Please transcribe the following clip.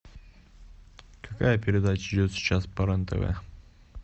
какая передача идет сейчас по рен тв